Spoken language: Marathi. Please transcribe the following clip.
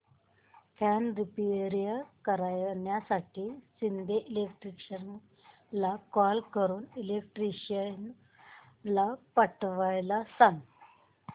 फॅन रिपेयर करण्यासाठी शिंदे इलेक्ट्रॉनिक्सला कॉल करून इलेक्ट्रिशियन पाठवायला सांग